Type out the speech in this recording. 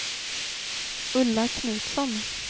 Ulla Knutsson